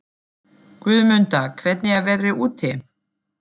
Guðmunda, hvernig er veðrið úti?